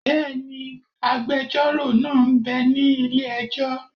Bẹ́ẹ̀ni, agbẹjọ́rò náà m bẹ ní ilé-ẹjọ́